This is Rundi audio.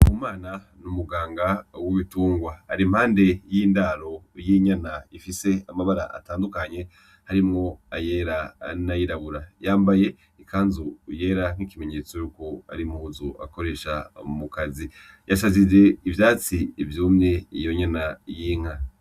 Ndikumana n'umuganga w'ibitungwa ari impande y'indaro y'inyana ifise amabara atandukanye harimwo ayera n'ayirabura, yambaye ikanzu yera nk'ikimenyetso yuko ari impuzu akoresha mu kazi, yasasije ivyatsi vyumye iyo nyana y'inka.